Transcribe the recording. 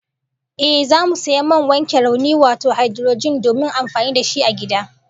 Ehh, zamu sayi man wanke rauni wato haidurojin domin amfani da shi a gida